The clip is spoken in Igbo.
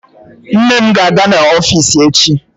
Nne m ga-aga n'ọfiisi ya echi.